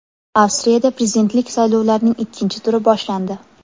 Avstriyada prezidentlik saylovlarining ikkinchi turi boshlandi.